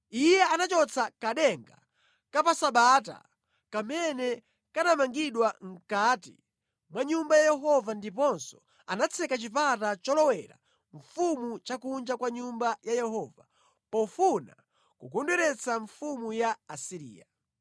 Iye anachotsa kadenga ka pa Sabata kamene kanamangidwa mʼkati mwa Nyumba ya Yehova ndiponso anatseka chipata cholowera mfumu cha kunja kwa nyumba ya Yehova pofuna kukondweretsa mfumu ya ku Asiriya.